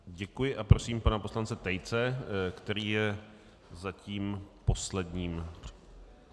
Děkuji a prosím pana poslance Tejce, který je zatím posledním.